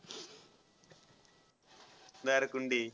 Narkunde.